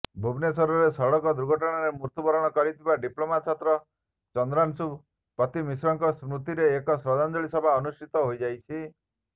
ଭୁବନେଶ୍ୱରରେ ସଡ଼କ ଦୁର୍ଘଟଣାରେ ମୃତ୍ୟୁବରଣ କରିଥିବା ଡିପ୍ଲୋମା ଛାତ୍ର ଚନ୍ଦ୍ରାଂଶୁ ପତିମିଶ୍ରଙ୍କ ସ୍ମୃତିରେ ଏକ ଶ୍ରଦ୍ଧାଞ୍ଜଳୀ ସଭା ଅନୁଷ୍ଠିତ ହୋଇଯାଇଛି